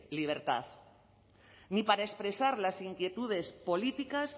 libertad ni para expresar las inquietudes políticas